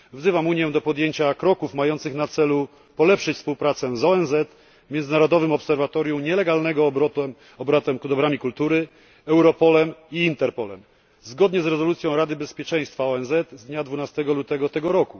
Wzywam Unię do podjęcia kroków mających na celu polepszenie współpracy z ONZ, międzynarodowym obserwatorium nielegalnego obrotu dobrami kultury, Europolem i Interpolem zgodnie z rezolucją Rady Bezpieczeństwa ONZ z dnia 12 lutego br.,